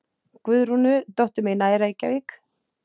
Guðrúnu, dóttur mína í Reykjavík?